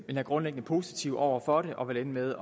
grundlæggende positive over for det og vil ende med